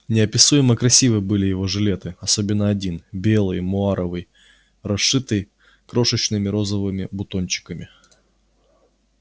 неописуемо красивы были его жилеты особенно один белый муаровый расшитый крошечными розовыми бутончиками